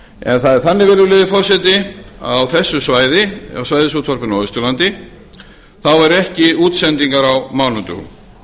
en það er þannig virðulegi forseti að á þessu svæði á svæðisútvarpinu á austurlandi eru ekki útsendingar á mánudögum